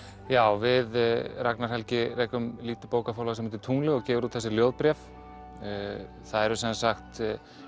já við Ragnar Helgi rekum lítið bókaforlag sem heitir tunglið og gefur út þessi ljóðbréf það eru sem sagt